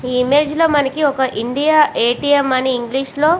ఈ ఇమేజ్ లో మనకి ఒక ఇండియా ఎ. టి. ఎం. అని ఇంగ్లీష్ లో --